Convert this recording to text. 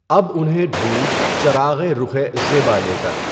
اب اُنہیں ڈھونڈ چراغِ رُخِ زیبا لے کر